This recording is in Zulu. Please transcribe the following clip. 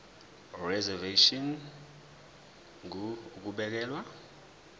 reservation ngur ukubekelwa